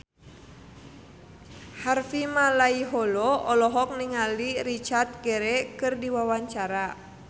Harvey Malaiholo olohok ningali Richard Gere keur diwawancara